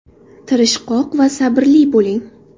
Tirishqoq va sabrli bo‘ling.